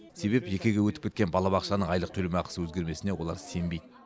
себеп жекеге өтіп кеткен балабақшаның айлық төлемақысы өзгермесіне олар сенбейді